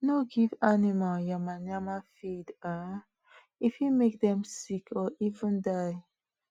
no give animal yama-yama feed um e fit make dem sick or even die